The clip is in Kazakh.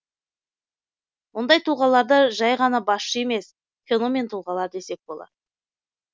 мұндай тұлғаларды жай ғана басшы емес феномен тұлғалар десек болар